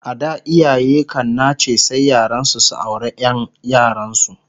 A da iyaye kan nace sai yaransu su aure Ƴan yaransu